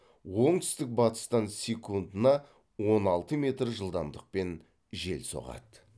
оңтүстік батыстан секундына он алты метр жылдамдықпен жел соғады